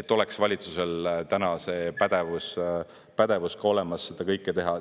et oleks valitsusel täna see pädevus olemas, et seda kõike teha.